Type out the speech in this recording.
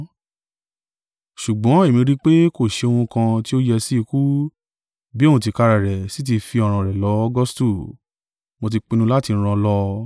Ṣùgbọ́n èmi rí i pe, kò ṣe ohun kan tí ó yẹ sí ikú, bí òun tìkára rẹ̀ sí tí fi ọ̀ràn rẹ̀ lọ Augustu, mo tí pinnu láti rán an lọ.